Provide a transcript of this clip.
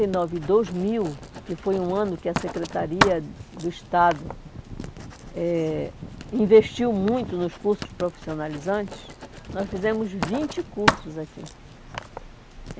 e nove e dois mil, que foi um ano que a Secretaria do Estado eh investiu muito nos cursos profissionalizantes, nós fizemos vinte cursos aqui.